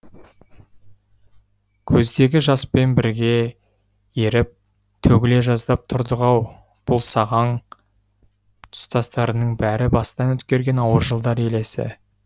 көздегі жаспен бірге еріп төгіле жаздап тұрдық ау бұл сағаң тұстастарының бәрі бастан өткерген ауыр жылдар елесі